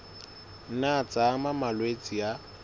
nna tsa ama malwetse a